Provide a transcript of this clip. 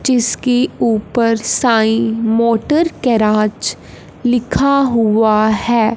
जिसके ऊपर Sai motor garage लिखा हुआ है।